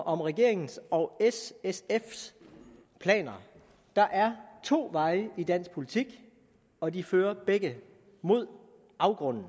om regeringens og s sfs planer der er to veje i dansk politik og de fører begge mod afgrunden